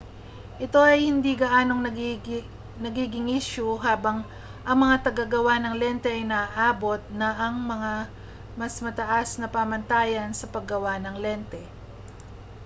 ito ay hindi na gaanong nagiging isyu habang ang mga tagagawa ng lente ay naaabot na ang mas matataas na pamantayan sa paggawa ng lente